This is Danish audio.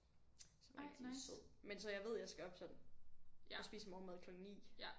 Som er rigtig sød men så jeg ved jeg skal op sådan og spise morgenmad klokken 9